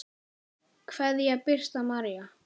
Kveðja, Birta María.